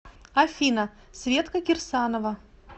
афина светка кирсанова